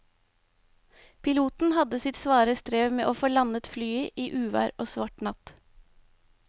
Piloten hadde sitt svare strev med å få landet flyet i uvær og svart natt.